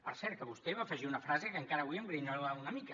per cert que vostè hi va afegir una frase que encara avui em grinyola una mica